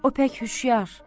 o pək huşyar.